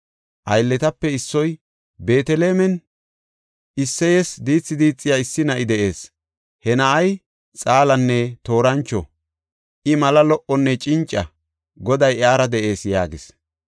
Aylletape issoy, “Beetelemen Isseyes diithi diixiya issi na7i de7ees. He na7ay xaalanne toorancho. I mala lo77onne cinca; Goday iyara de7ees” yaagis.